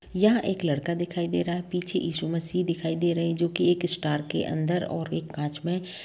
यह एक लड़का दिखाई दे रहा है पीछे यीशु मसीह दिखाई दे रहे हैं जो की एक स्तर के अंदर और एक कांच में--